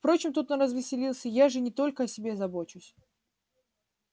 впрочем тут он развеселился я же не только о себе забочусь